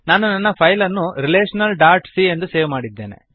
ನಾನು ನನ್ನ ಫೈಲ್ ಅನ್ನು ರೆಲೇಶನಲ್ ಡಾಟ್ ಸಿ ಎಂದು ಸೇವ್ ಮಾಡಿದ್ದೇನೆ